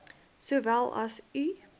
sowel as u